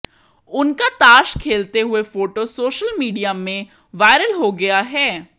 उनका ताश खेलते हुए फोटो सोशल मीडिया में वायरल हो गया है